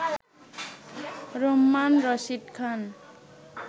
Rumman Rashid Khan